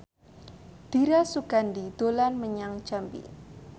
Dira Sugandi dolan menyang Jambi